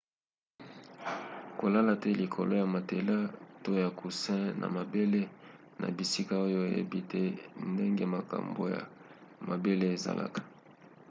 kolala te likolo ya matelas to ya coussin na mabele na bisika oyo oyebi te ndenge makambo ya mabele ezalaka